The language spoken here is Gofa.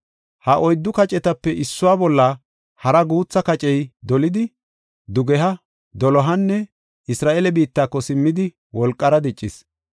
Ha oyddu kacetape issuwa bolla hara guutha kacey dolidi, dugeha, dolohanne Isra7eele biittako simmidi wolqara diccis.